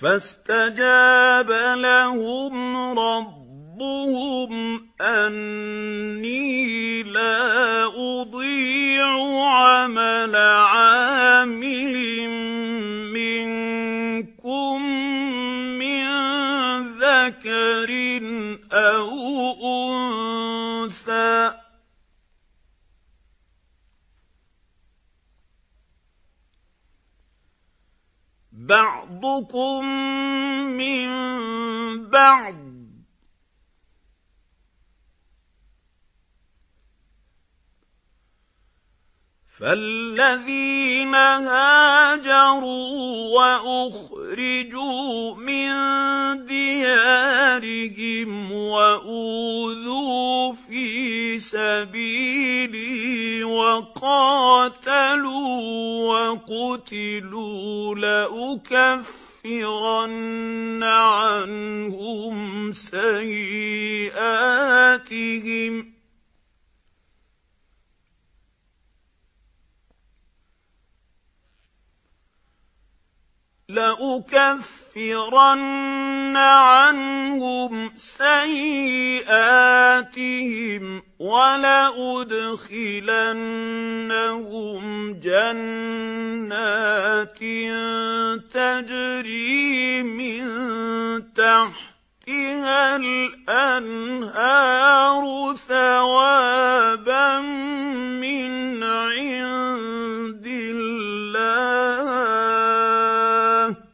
فَاسْتَجَابَ لَهُمْ رَبُّهُمْ أَنِّي لَا أُضِيعُ عَمَلَ عَامِلٍ مِّنكُم مِّن ذَكَرٍ أَوْ أُنثَىٰ ۖ بَعْضُكُم مِّن بَعْضٍ ۖ فَالَّذِينَ هَاجَرُوا وَأُخْرِجُوا مِن دِيَارِهِمْ وَأُوذُوا فِي سَبِيلِي وَقَاتَلُوا وَقُتِلُوا لَأُكَفِّرَنَّ عَنْهُمْ سَيِّئَاتِهِمْ وَلَأُدْخِلَنَّهُمْ جَنَّاتٍ تَجْرِي مِن تَحْتِهَا الْأَنْهَارُ ثَوَابًا مِّنْ عِندِ اللَّهِ ۗ وَاللَّهُ عِندَهُ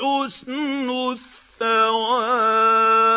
حُسْنُ الثَّوَابِ